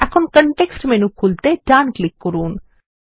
এখন context menu খুলতে ডান ক্লিক করুন